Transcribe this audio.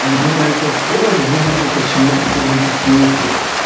ань именно этот слово они выделили почему-то сильным по смыслу